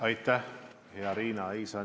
Aitäh, hea Riina!